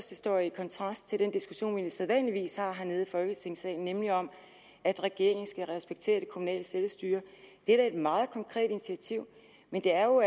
det står i kontrast til den diskussion vi sædvanligvis har hernede i folketingssalen nemlig om at regeringen skal respektere det kommunale selvstyre det er da et meget konkret initiativ men det er jo